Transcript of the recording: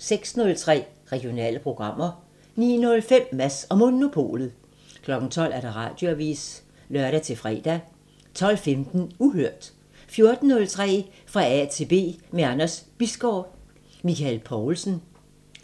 06:03: Regionale programmer 09:05: Mads & Monopolet 12:00: Radioavisen (lør-fre) 12:15: Uhørt 14:03: Fra A til B – med Anders Bisgaard: Michael Poulsen